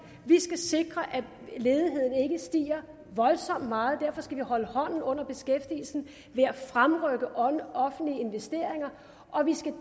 vi skal sikre at ledigheden ikke stiger voldsomt meget og derfor skal vi holde hånden under beskæftigelsen ved at fremrykke offentlige investeringer og vi skal